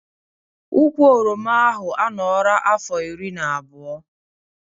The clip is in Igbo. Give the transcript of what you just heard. Ụkwụ oroma ahụ a nọra afọ iri na abụọ